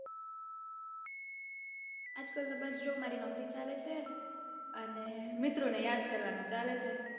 આજકાલ તો બસ જો મારી નોકરી ચાલે છે અને મિત્રોને યાદ કરવાનું ચાલે છે.